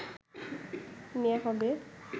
নেয়া হবে